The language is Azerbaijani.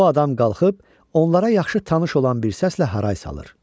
O adam qalxıb onlara yaxşı tanış olan bir səslə haray salır.